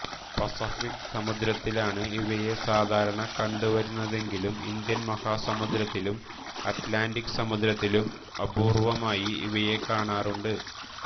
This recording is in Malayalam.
പസഫിക്ക് സമുദ്രത്തിലാണ് ഇവയെ സാധാരണ കണ്ടുവരുന്നതെങ്കിലും ഇന്ത്യൻ മഹാസമുദ്രത്തിലും അറ്റ്ലാന്റിക്ക് സമുദ്രത്തിലും അപൂർവ്വമായി ഇവയെ കാണാറുണ്ട്